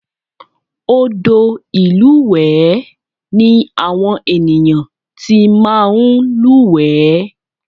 Odò ìlúwẹ̀ẹ́ ni àwọn ènìyàn ti máa ń lúwẹ̀ẹ́